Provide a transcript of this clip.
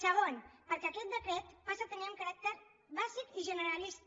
segon perquè aquest decret passa a tenir un caràcter bàsic i generalista